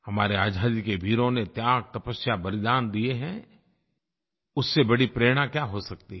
हमारे आज़ादी के वीरों ने त्याग तपस्या बलिदान दिए हैं उससे बड़ी प्रेरणा क्या हो सकती है